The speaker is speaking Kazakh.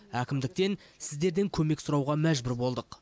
әкімдіктен сіздерден көмек сұрауға мәжбүр болдық